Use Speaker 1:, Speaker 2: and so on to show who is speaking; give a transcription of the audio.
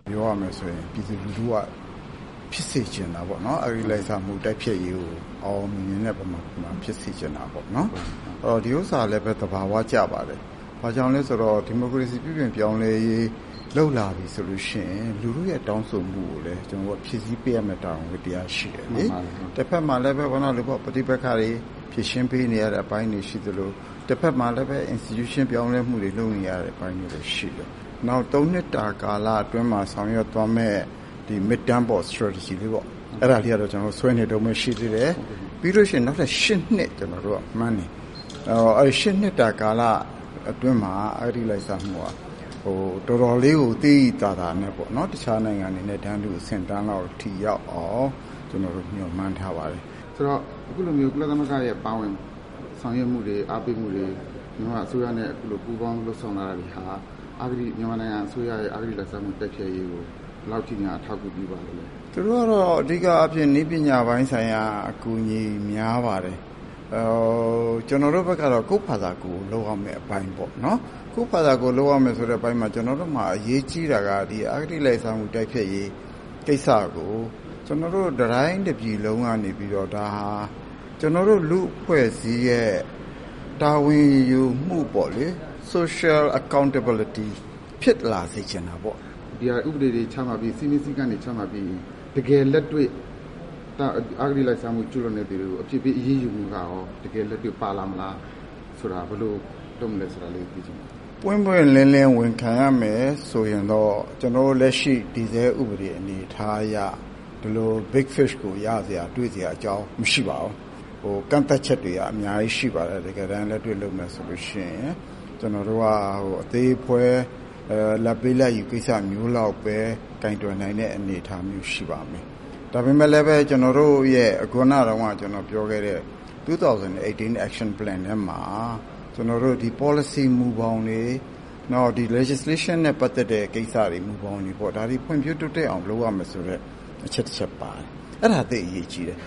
Speaker 1: ပြောရမယ်ဆိုရင် ပြည်သူလူထုက ဖြစ်စေချင်တာပေါ့နော် အဂတိလိုက်စားမှုတိုက်ဖျက်ရေးကို အောင်အောင်မြင်မြင်နဲ့ ဖြစ်စေချင်တာပေါ့နော်။ ဒီဟာလည်း သဘာဝကျပါတယ်။ ဘာကြောင့်လဲဆိုတော့ ဒီမိုကရေစီ ပြုပြင်ပြောင်းလဲရေး လုပ်လာပြီဆိုရင် လူထုတောင်းဆိုမှုကိုလည်း ကျနော်တို့ ဖြည့်ဆည်းပေးရမယ့် တာဝန်ဝတ္တရားရှိတယ်။ တဖက်မှာလည်း ပဋိပက္ခတွေ ဖြေရှင်းပေးနေရတဲ့အပိုင်းတွေ ရှိသလို တဖက်မှာလည်း institution ပြောင်းလဲမှုတွေ လုပ်နေရတဲ့ အပိုင်းတွေလည်း ရှိတယ်။ နောက် ၃ နှစ်တာကာလအတွင်းမှာ ဆောင်ရွက်သွားမယ့် Mid-term Strategy လေးပေါ့ အဲဒါလေးကတော့ ကျနော်တို့ ဆွဲနေတုန်းပဲ ရှိသေးတယ်။ ပြီးရင် ကျနော်တို့က နောက် ၈ နှစ်မှန်းတယ်။နောက် ၈ နှစ်တာကာလအတွင်းမှာ အဂတိလိုက်စားမှုက တော်တော်လေးကို သိသိသာသာနဲ့ပေါ့နော် တခြားနိုင်ငံတွေနဲ့ တန်းတူအဆင့်အတန်းလောက်အထိရောက်အောင် ကျနော်တို့ မျှော်မှန်းထားပါတယ်။ မေး
Speaker 2: ။ ။ ဆိုတော့ အခုလို ကုလသမဂ္ဂရဲ့ ပါဝင်ဆောင်ရွက်မှုတွေ အားပေးမှုတွေ၊ မြန်မာအစိုးရနဲ့ ပူးပေါင်းလုပ်ဆောင်လာတာတွေဟာ မြန်မာအစိုးရရဲ့ အဂတိလိုက်စားမှုတိုက်ဖျက်ရေးကို ဘယ်လောက်အထိများ အထောက်အကူပြုပါသလဲ
Speaker 1: ခင်ဗျ။ ဦးအောင်ကြည် ။ ။သူတို့ကတော့ အဓိကအားဖြင့် နည်းပညာပိုင်း ဆိုင်ရာ အကူအညီ များပါတယ်။ ကျနော်တို့ဘက်ကတော့ ကိုယ့်ဟာကိုယ်လုပ်ရမယ့်အပိုင်းပေါ့နော် ။ ကိုယ့်ဟာကိုယ်လုပ်ရမယ်ဆိုတော့ ကျနော်တို့မှာ အရေးကြီးတာက အဂတိလိုက်စားမှုတိုက်ဖျက်ရေးကိစ္စကို တတိုင်းတပြည်လုံးကနေပြီးတော့ ဒါဟာ ကျနော်တို့ လူ့အဖွဲ့အစည်းရဲ့ တာဝန်ယူမှုပေါ့လေ Social Accountability ဖြစ်လာစေချင်တာပေါ့။ မေး။ ။ ဒီဟာဥပဒေတ
Speaker 2: ွေချမှတ်ပြီး စည်းမျဉ်းစည်းကမ်းတွေ ချမှတ်ပြီးရင် တကယ်လက်တွေ့ အဂတိလိုက်စားမှုကျူးလွှန်သူတွေကို အပြစ်ပေးအရေးယူမှုကရော တကယ်လက်တွေ့ပါလာပါမလားဆိုတာ ဘယ်လိုလုပ်မလဲဆိုတာ သိချင်ပါတယ်
Speaker 1: ။ ဦးအောင်ကြည် ။ ။ပွင့်ပွင့်လင်းလင်းဝန်ခံရမယ်ဆိုရင်တော့ ကျနော်တို့လက်ရှိ တည်ဆဲဥပဒေ အနေအထားအရ ဘယ်လို Big Fish ကိုရစရာ တွေ့စရာအကြောင်းမရှိပါဘူး။ ဒီလိုကန့်သတ်ချက် တွေကအများကြီးရှိပါတယ် တကယ်တမ်းလက်တွေ့လုပ်မယ်ဆိုရင် ။ ကျနော်တို့က အသေးအဖွဲလာဒ်ပေး လာဒ်ယူ ကိစ္စမျိုးလောက်ပဲ ကိုင်တွယ်နိုင်မယ့်အနေအထားမျိုးရှိပါမယ်။ ဒါပေမယ့်လည်း ကျနော်တို့ရဲ့ ခုနတုန်းက ကျနော်ပြောခဲ့တဲ့ ၂၀၁၈ Action Plan ထဲမှာ ကျနော်တို့ ပေါ်လစီမူဘောင်တွေ ၊ နောက် ဒီ Legislation နဲ့ ပတ်သက်တဲ့ ကိစ္စတွေမူဘောင်တွေပေါ့ ဒါတွေဖွံ့ဖြိုးတိုးတက်အောင် လုပ်ရမယ်ဆိုတဲ့ အချက်၁ ချက်ပါတယ် အဲဒါသိပ်အရေးကြီးတယ်